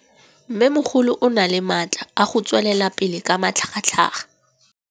Mmêmogolo o na le matla a go tswelela pele ka matlhagatlhaga.